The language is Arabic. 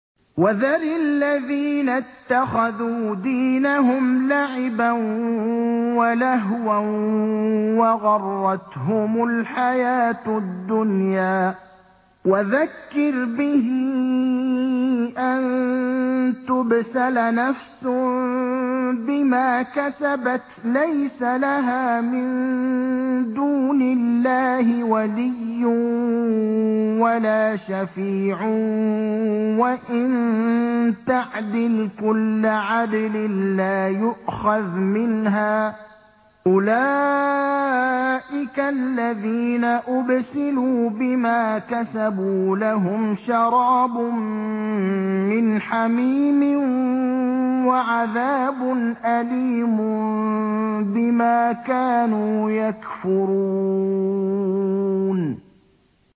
وَذَرِ الَّذِينَ اتَّخَذُوا دِينَهُمْ لَعِبًا وَلَهْوًا وَغَرَّتْهُمُ الْحَيَاةُ الدُّنْيَا ۚ وَذَكِّرْ بِهِ أَن تُبْسَلَ نَفْسٌ بِمَا كَسَبَتْ لَيْسَ لَهَا مِن دُونِ اللَّهِ وَلِيٌّ وَلَا شَفِيعٌ وَإِن تَعْدِلْ كُلَّ عَدْلٍ لَّا يُؤْخَذْ مِنْهَا ۗ أُولَٰئِكَ الَّذِينَ أُبْسِلُوا بِمَا كَسَبُوا ۖ لَهُمْ شَرَابٌ مِّنْ حَمِيمٍ وَعَذَابٌ أَلِيمٌ بِمَا كَانُوا يَكْفُرُونَ